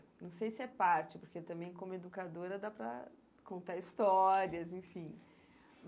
Não sei se é parte, porque também como educadora dá para contar histórias, enfim.